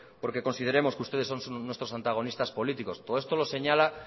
porque consideremos que ustedes son nuestros antagonistas políticos todo esto lo señala